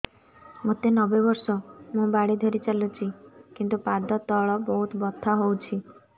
ମୋତେ ନବେ ବର୍ଷ ମୁ ବାଡ଼ି ଧରି ଚାଲୁଚି କିନ୍ତୁ ପାଦ ତଳ ବହୁତ ବଥା ହଉଛି